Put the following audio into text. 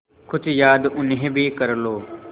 कुछ याद उन्हें भी कर लो